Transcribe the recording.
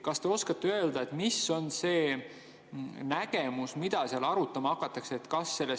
Kas te oskate öelda, mis on see nägemus, mida seal arutama hakatakse?